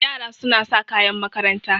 Yara suna sa kayan makaranta.